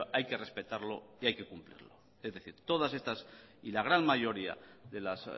hay que respetarlo y hay que cumplirlo es decir todas estas y la gran mayoría de las